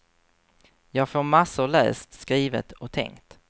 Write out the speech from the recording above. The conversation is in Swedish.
Jag får massor läst, skrivet och tänkt.